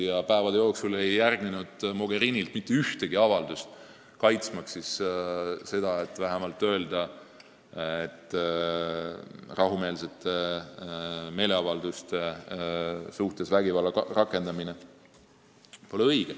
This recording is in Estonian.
Ja päevi ei järgnenud Mogherinilt mitte ühtegi avaldust, et neid kaitsta, et vähemalt öelda, et rahumeelsete meeleavalduste suhtes vägivalla rakendamine pole õige.